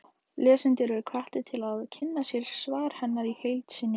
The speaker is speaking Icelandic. Lesendur eru hvattir til að kynna sér svar hennar í heild sinni.